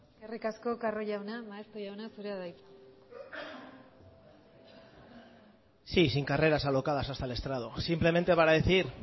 eskerrik asko carro jauna maeztu jauna zurea da hitza sí sin carreras alocadas hasta el estrado simplemente para decir